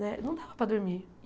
Né não dava para dormir.